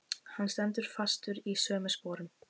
Hann stendur fastur í sömu sporum.